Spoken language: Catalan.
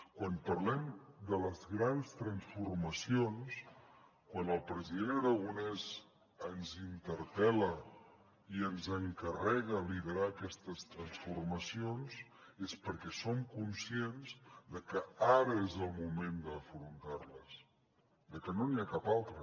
quan parlem de les grans transformacions quan el president aragonès ens interpel·la i ens encarrega liderar aquestes transformacions és perquè som conscients que ara és el moment d’afrontar les que no n’hi ha cap altre